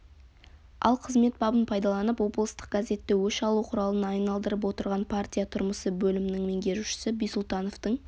ал қызмет бабын пайдаланып облыстық газетті өш алу құралына айналдырып отырған партия тұрмысы бөлімнің меңгерушісі бисултановтың